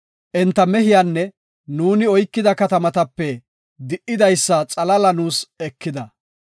Enta mehiyanne nuuni oykida katamatape di77idaysa xalaala nuus ekida.